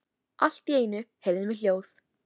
Allt í einu heyrðum við hljóð.